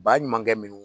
Ba ɲumankɛ minnu